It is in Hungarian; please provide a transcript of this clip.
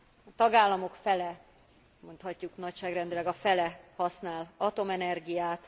A tagállamok fele, mondhatjuk nagyságrendileg a fele használ atomenergiát.